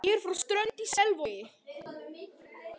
Ég er frá Strönd í Selvogi.